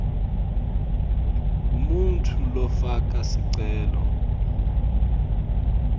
umuntfu lofaka sicelo